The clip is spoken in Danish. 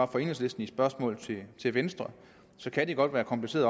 enhedslisten i spørgsmålet til venstre kan det godt være kompliceret